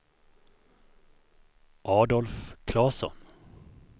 Adolf Klasson